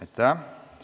Aitäh!